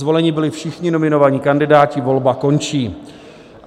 Zvoleni byli všichni nominovaní kandidáti, volba končí.